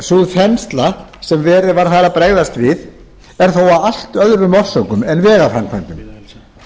sú þensla sem verið var þar að bregðast við er þó af allt öðrum orsökum en vegaframkvæmdum sú